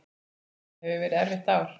Þetta hefur verið erfitt ár.